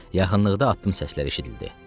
Yaxınlıqda addım səsləri eşidildi.